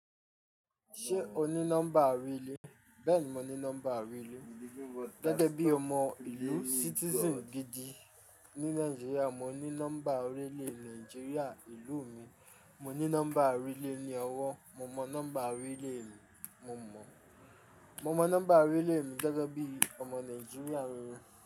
Ṣé o ní nọ́mbà orí ilé? Bẹ́ẹ̀ni, mo ní nọ́mbà orí ilé. Gẹ́gẹ́ bí ọmọ ìlú citizen gidi ní Nàìjíríà, mo ní nọ́mbà orí ilé Nàìjíríà ìlú mi. Mo ní nọ́mbà orí ilé ní ọwọ́. Mo mọ nọ́mbà orí ilé mi, mo mọ. Mo mọ nọ́mbà orí ilé mi gẹ́gẹ́ bí ọmọ Nàìjíríà reré.